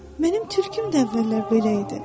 Mənim tülküm də əvvəllər belə idi.